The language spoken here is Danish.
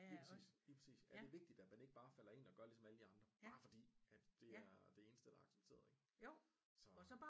Lige præcis lige præcis det er vigtigt at man ikke bare falder ind og gør ligesom alle de andre bare fordi at det er det eneste der er accepeteret ikke så